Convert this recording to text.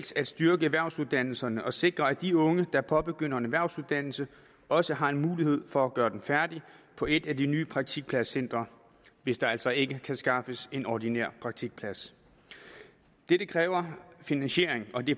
at styrke erhvervsuddannelserne og sikre at de unge der påbegynder en erhvervsuddannelse også har mulighed for at gøre den færdig på et af de nye praktikpladscentre hvis der altså ikke kan skaffes en ordinær praktikplads det kræver finansiering og det